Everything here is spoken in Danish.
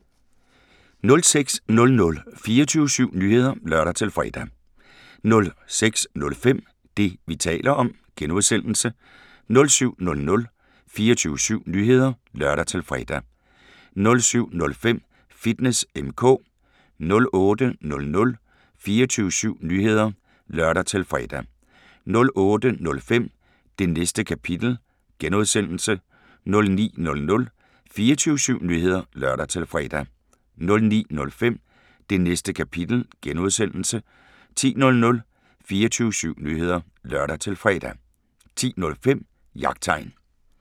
06:00: 24syv Nyheder (lør-fre) 06:05: Det, vi taler om (G) 07:00: 24syv Nyheder (lør-fre) 07:05: Fitness M/K 08:00: 24syv Nyheder (lør-fre) 08:05: Det Næste Kapitel (G) 09:00: 24syv Nyheder (lør-fre) 09:05: Det Næste Kapitel (G) 10:00: 24syv Nyheder (lør-fre) 10:05: Jagttegn